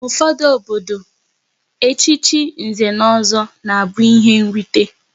N'ufodu obodo, echichi Nze na Ọzọ na abụ ihe nrite